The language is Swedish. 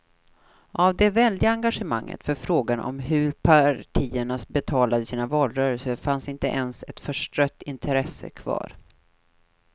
Av det väldiga engagemanget för frågan om hur partierna betalade sina valrörelser fanns inte ens ett förstrött intresse kvar.